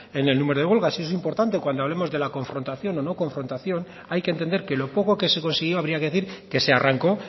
en el número de huelgas y eso es importante cuando hablemos de la confrontación o no confrontación hay que entender que lo poco que se consiguió habría que decir que se arrancó